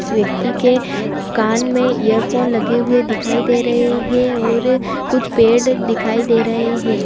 इस व्यक्ति के कान में ईयरफोन लगे हुए दिखाई दे रहे हैं और कुछ पेड़ दिखाई दे रहे हैं।